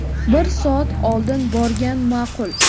Bir soat oldin borgan ma’qul.